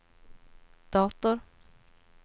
dator